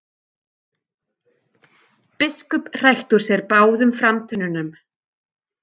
Biskup hrækti út úr sér báðum framtönnunum.